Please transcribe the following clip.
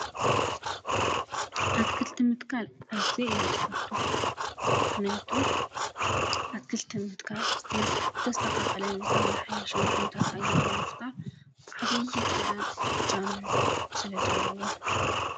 ኣትክልቲ ምትካል ኣዝየ እየ ዝፈቱ፡፡ ምኽንያቱ ኣትክልቲ ምትካል ዝተስተኻኸለን ዝተመሓየሸን ኩነታት ኣየር ንምፍጣር ዓብዪ ተራን እጃምን ስለዘለዎ፡፡